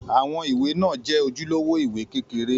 Àwọn ìwé náà jẹ́ ojúlówó ìwé kékeré.